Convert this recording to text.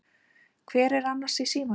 Hver var annars í símanum?